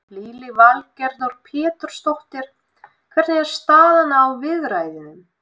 Lillý Valgerður Pétursdóttir: Hvernig er staðan á viðræðunum?